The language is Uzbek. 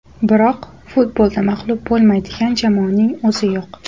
Biroq, futbolda mag‘lub bo‘lmaydigan jamoaning o‘zi yo‘q.